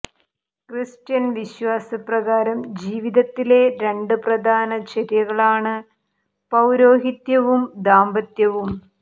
Christian വിശ്വാസപ്രകാരം ജീവിതത്തിലെ രണ്ട് പ്രധാന ചര്യകളാണ് പൌരോഹിത്യവും ദാമ്പത്യവും